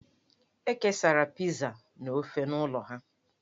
E kesara Pizaa na ofe n'ụlọ ha.